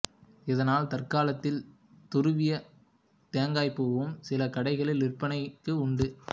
இதனால் தற்காலத்தில் துருவிய தேங்காய்ப்பூவும் சில கடைகளில் விற்பனைக்கு உண்டு